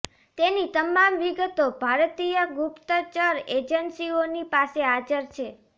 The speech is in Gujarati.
તેની તમામ વિગતો ભારતીય ગુપ્તચર એજન્સીઓની પાસે હાજર છે